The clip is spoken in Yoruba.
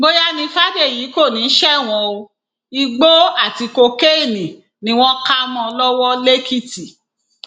bóyá ni fàdèyí kò ní í ṣẹwọn o igbó àti kokéènì ni wọn kà mọ ọn lọwọ lẹkìtì